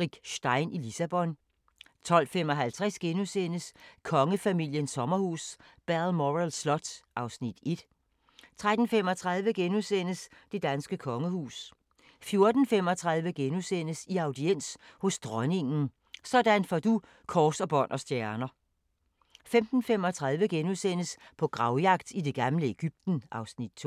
Rick Stein i Lissabon * 12:55: Kongefamiliens sommerhus – Balmoral Slot (Afs. 1)* 13:35: Det danske kongehus * 14:35: I audiens hos Dronningen – sådan får du kors, bånd og stjerner * 15:35: På gravjagt i det gamle Egypten (Afs. 2)*